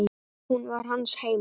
Hún var hans heima.